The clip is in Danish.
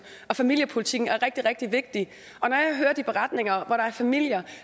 og familiepolitikken er rigtig rigtig vigtig og når jeg hører de beretninger om familier